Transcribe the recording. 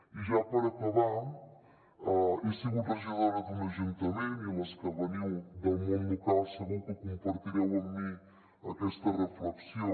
i ja per acabar he sigut regidora d’un ajuntament i les que veniu del món local segur que compartireu amb mi aquesta reflexió